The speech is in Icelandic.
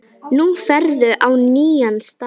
Nú ferðu á nýjan stað.